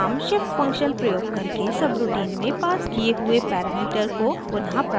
हम shift function प्रयोग करके सबरूटीन में पास किये हुए पैरामीटर को पुनः प्राप्त करते हैं